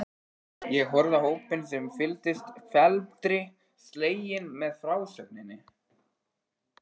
Hún horfði á hópinn sem fylgdist felmtri sleginn með frásögninni.